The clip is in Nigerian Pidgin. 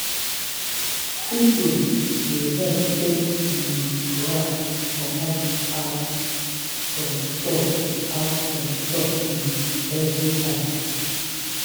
sweeping dey help chase um rat come out from store out from store um every time.